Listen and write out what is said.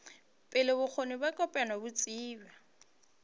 pele bokgoni bja kopanya botsebi